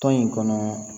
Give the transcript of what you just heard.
Tɔn in kɔnɔ